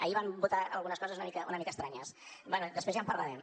ahir van votar algunes coses una mica estranyes després ja en parlarem